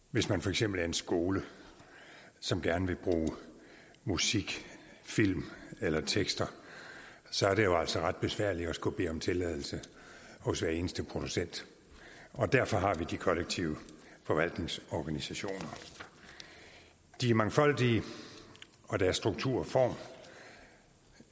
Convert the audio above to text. hvis man for eksempel er en skole som gerne vil bruge musik film eller tekster så er det jo altså ret besværligt at skulle bede om tilladelse hos hver eneste producent derfor har vi kollektiv forvaltnings organisationer de er mangfoldige og deres struktur og form